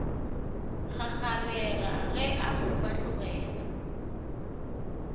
kgakgarega ge a mo fahlogela